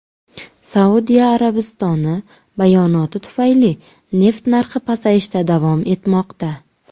Saudiya Arabistoni bayonoti tufayli neft narxi pasayishda davom etmoqda.